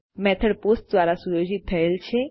method post દ્વારા સુયોજિત થયેલ છે